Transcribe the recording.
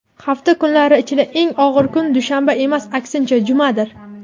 hafta kunlari ichida eng og‘ir kun dushanba emas, aksincha, jumadir.